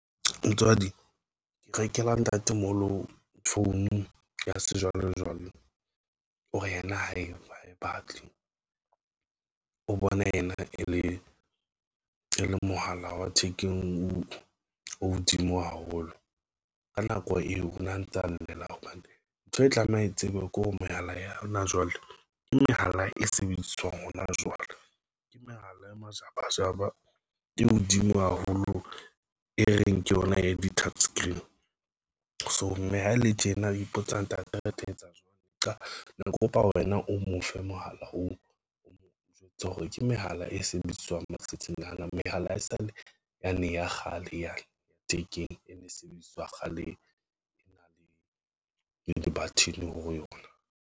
Motswadi ke rekela ntatemoholo phone ya sejwalejwale, o re yena hae e batle o bona ena e le e le mohala wa thekeng o hodimo haholo. Ka nako eo ho na ntsa llela hobane ntho e tlameha e tsebe kore mehala ya hona jwale ke mehala e sebediswang hona jwale, ke mehala e majabajaba ke hodimo haholo, e reng ke yona e di touch screen so mme ha ele tjena o ipotsa ntate, re tla etsa jwang ne ke kopa wena o mo fe mohala ho o jwetsa hore ke mehala e sebediswang matsatsing ana. Mehala haesale yane ya kgale yane ya thekeng e ne e sebediswa kgale e na le le di-button ho yona.